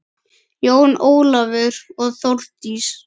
Jón Ólafur og Þórdís.